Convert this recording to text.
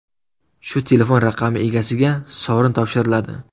Shu telefon raqami egasiga sovrin topshiriladi.